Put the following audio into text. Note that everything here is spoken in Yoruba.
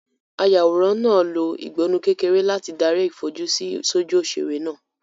Ayàwòrán náà lo ìgbọnnu kékeré láti darí ìfojúsí sójú òṣèré náà.